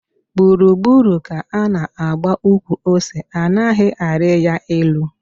Gburu gburu ka ana agba ukwu ose anaghi ari ya elu